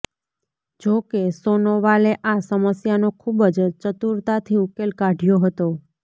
જો કે સોનોવાલે આ સમસ્યાનો ખુબ જ ચતુરતાથી ઉકેલ કાઢ્યો હતો